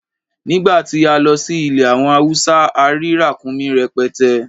Nìgbà tí a lọ sí ilẹ̀ àwọn Hausa, a rí ràkúnmí rẹpẹtẹ.